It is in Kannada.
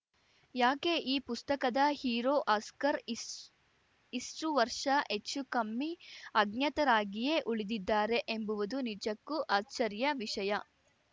ಯಾಕೆ ಈ ಪುಸ್ತಕದ ಹೀರೋ ಹಸ್ಕರ್‌ ಇಷ್ ಇಷ್ಟುವರ್ಷ ಹೆಚ್ಚುಕಮ್ಮಿ ಅಜ್ಞಾತರಾಗಿಯೇ ಉಳಿದಿದ್ದಾರೆ ಎಂಬುವುದು ನಿಜಕ್ಕೂ ಅಚ್ಚರಿಯ ವಿಷಯ